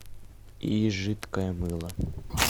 и жидкое мыло